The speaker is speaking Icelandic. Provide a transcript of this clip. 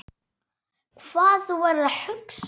Hvað þú værir að hugsa.